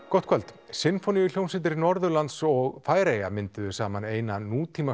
gott kvöld Sinfóníuhljómsveit Norðurlands og Færeyja mynduðu saman eina